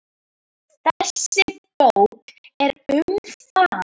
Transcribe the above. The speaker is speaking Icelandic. Þessi bók er um það.